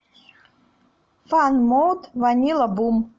фан мод ванилла бум